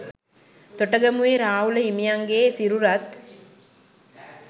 තොටගමුවේ රාහුල හිමියන්ගේ සිරුරත්